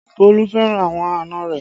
Bolu fẹ́ràn àwọn àna rẹ